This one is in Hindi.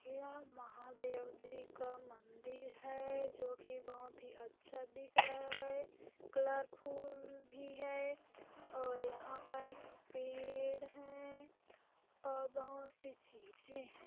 यह महादेव जी का मंदिर है जो कि बहोत ही अच्छा दिख रहा है कलरफुल भी है और यहाँ पर पेड़ है और बहोत सी चीजे है।